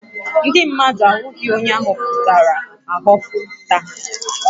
Ndị mmadụ ahụghị onye a họpụtara ahọpụta